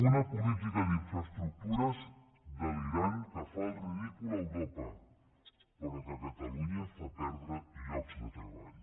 una política d’infraestructures delirant que fa el ridícul a europa però que a catalunya fa perdre llocs de treball